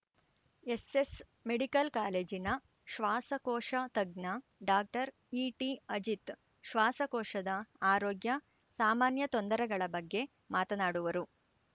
SS medical ಕಾಲೇಜಿನ ಶ್ವಾಸಕೋಶ ತಜ್ಞ ಡಾಕ್ಟರ್ ಇಟಿಅಜಿತ್‌ ಶ್ವಾಸಕೋಶದ ಆರೋಗ್ಯ ಸಾಮಾನ್ಯ ತೊಂದರೆಗಳ ಬಗ್ಗೆ ಮಾತನಾಡುವರು